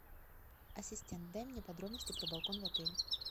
ассистент дай мне подробности про балкон в отеле